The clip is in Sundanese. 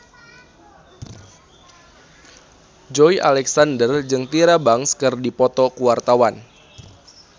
Joey Alexander jeung Tyra Banks keur dipoto ku wartawan